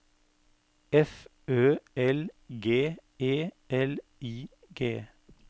F Ø L G E L I G